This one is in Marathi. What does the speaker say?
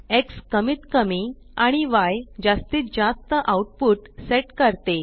एक्स कमीतकमी आणि Yजास्तीतजास्त आउटपुट सेट करते